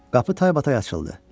Qapı taybatay açıldı.